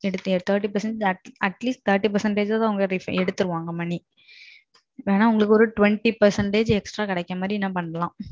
at atleast thirty percentage ஆவது எடுத்துருவாங்க money. வேணா உங்களுக்கு ஒரு twenty percentage அதிகமா கிடக்குற மாறி பண்ணலாம்.